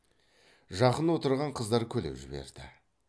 жақын отырған қыздар күліп жіберді